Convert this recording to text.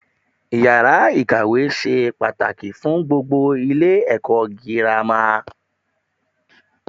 Iyàrá ikawe se pàtàkì fun gbogbo Ilé èkó girama